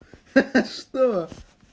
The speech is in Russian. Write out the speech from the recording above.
ха-ха что